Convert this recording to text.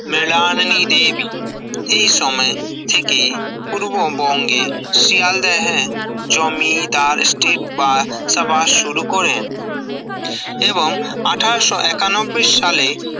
মরিলানি দেবী এই সময় থেকে পূর্ববঙ্গে শিয়ালদেহে জমি ডাল স্কেট বা সভা শুরু করেন এবং আঠাশ ও একানব্বই সালে